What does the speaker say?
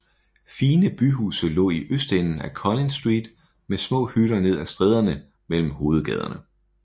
Fine byhuse lå i østenden af Collins Street med små hytter ned af stræderne mellem hovedgaderne